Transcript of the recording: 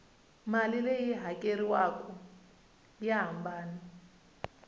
mali leyi hakeriwaku ya hambana